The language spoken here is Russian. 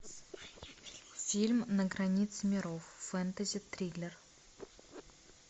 фильм на границе миров фэнтези триллер